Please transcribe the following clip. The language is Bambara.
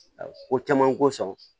Ko caman ko sɔn